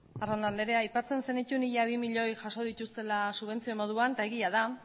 arrondo andrea aipatzen zenituen ia bi milioi jaso dituztela subentzio moduan eta egia da